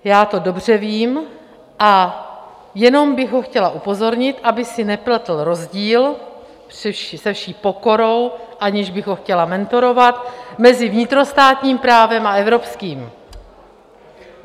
Já to dobře vím a jenom bych ho chtěla upozornit, aby si nepletl rozdíl - se vší pokorou, aniž bych ho chtěla mentorovat - mezi vnitrostátním právem a evropským.